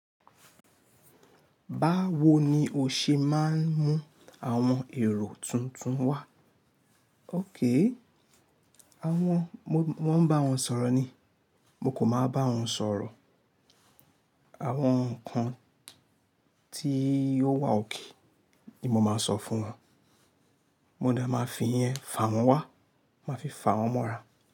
Báwo ni o ṣe máa ń mú àwọn èrò tuntun wá? O daa àwọn, mo maa ń bá wọn sọ̀rọ̀ ni. Mo kò máa bá wọn sọ̀rọ̀. Àwọn ǹkan tí ó daa ni mo máa ń sọ fún wọn. Mo dá máa fi ìyẹn fà wọ́n wá, máa fi fà wọ́n mọ́ra.